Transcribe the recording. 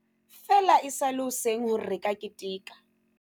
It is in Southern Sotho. Feela e sa le hoseng hore re ka keteka.